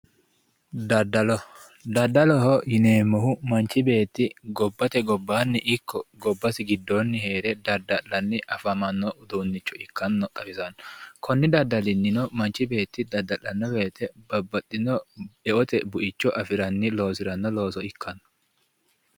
dadalo dadalo dadaloho yineemmohu manchi beetti gobbate gobbanni ikko gobbate giddoonni heere dadda'lanni afamanno uduunnicho ikkanno xawisanno konni daddalinnino manchi beeti dadda'lanno woyite babbaxinno eote buicho afiranni loosiranno looso ikkanno